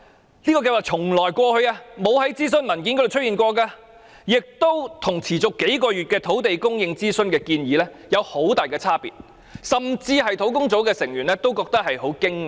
這個計劃過往從未在任何諮詢文件中出現，並與持續數月土地供應諮詢的建議差別極大，甚至連專責小組成員亦感到相當驚訝。